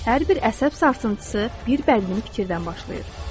Hər bir əsəb sarsıntısı bir bədbin fikirdən başlayır.